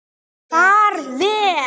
Far vel.